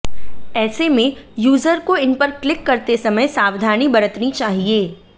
ऐसे में यूजर को इन पर क्लिक करते समय सावधानी बरतनी चाहिए